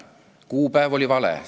Kuupäev oli vale.